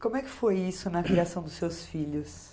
Como é que foi isso na criação dos seus filhos?